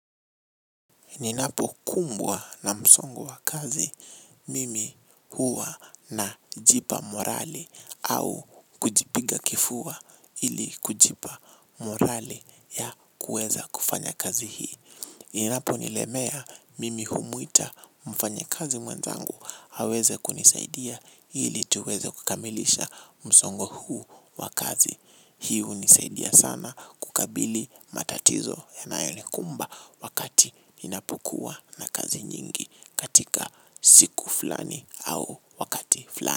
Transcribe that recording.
Ninapokumbwa na msongo wa kazi, mimi huwa najipa morali au kujipiga kifua ili kujipa morali ya kuweza kufanya kazi hii. Inaponilemea mimi humwita mfanyakazi mwenzangu aweze kunisaidia ili tuweze kukamilisha msongo huu wa kazi. Hii hunisaidia sana kukabili matatizo yanayonikumba wakati ninapokuwa na kazi nyingi katika siku fulani au wakati fulani.